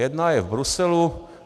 Jedna je v Bruselu.